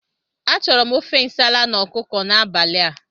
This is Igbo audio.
Achọrọ m ofe nsala na ọkụkọ n'abalị a.